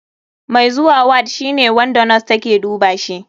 Mai zuwa ward shine wanda nos take dubashi.